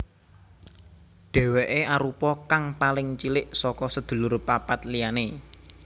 Dèwèké arupa kang paling cilik saka sedulur papat liyané